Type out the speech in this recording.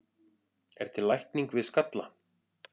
er til lækning við skalla